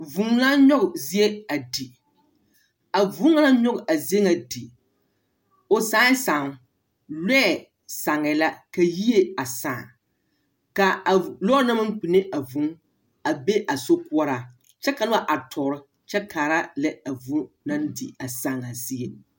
Vũũ naa nyͻge zie a di. A vũũ ŋa naŋ nyͻge a zie a di, o sãã sããmo; lͻԑ sããŋԑԑ la, ka yie a sãã. Ka a lͻͻre na naŋ maŋ kpinne a vũũ a be a sokoͻraa kyԑ ka noba are tͻͻre kyԑ kaara lԑ a vũũ naŋ di a sããŋaa zie.